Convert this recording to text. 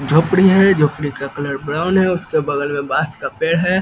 झोपड़ी है झोपड़ी का कलर ब्राउन है उसके बगल में बांस का पेड़ है।